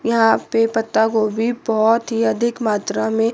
यहां पे पत्ता गोभी बहोत ही अधिक मात्रा में--